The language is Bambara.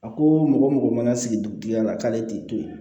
A ko mɔgɔ mɔgɔ mana sigi dugutigi la k'ale t'i to yen